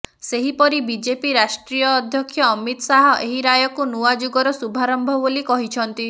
ସେହିପରି ବିଜେପି ରାଷ୍ଟ୍ରୀୟ ଅଧ୍ୟକ୍ଷ ଅମିତ ଶାହ ଏହି ରାୟକୁ ନୂଆ ଯୁଗର ଶୁଭାରମ୍ଭ ବୋଲି କହିଛନ୍ତିି